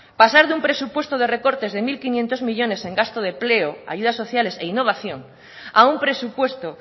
pasar de un presupuesto de recortes de mil quinientos millónes en gasto de empleo ayudas sociales e innovación a un presupuesto